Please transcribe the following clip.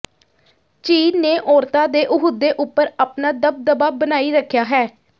ਚੀਨ ਨੇ ਔਰਤਾਂ ਦੇ ਅਹੁਦੇ ਉੱਪਰ ਆਪਣਾ ਦਬਦਬਾ ਬਣਾਈ ਰੱਖਿਆ ਹੈ